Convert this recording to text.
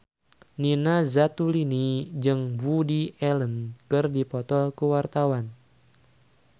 Nina Zatulini jeung Woody Allen keur dipoto ku wartawan